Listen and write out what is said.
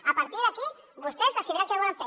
a partir d’aquí vostès decidiran què volen fer